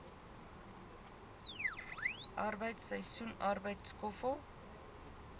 arbeid seisoensarbeid skoffel